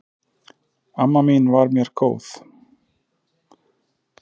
Amma mín var mér mjög góð.